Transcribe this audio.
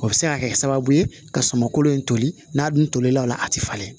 O bɛ se ka kɛ sababu ye ka sumankolo in toli n'a dun tolen don a la a tɛ falen